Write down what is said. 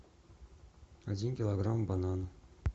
один килограмм бананов